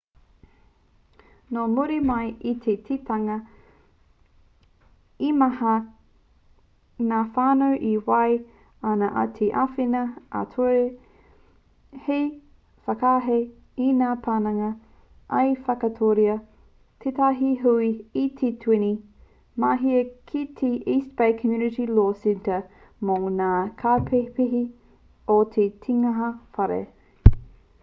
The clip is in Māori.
nō muri mai i te kitenga he maha ngā whānau e whai ana i te āwhina ā-ture hei whakahē i ngā pananga i whakatūria tētahi hui i te 20 o māehe ki te east bay community law centre mō ngā kaupēhipēhi o te tinihanga whare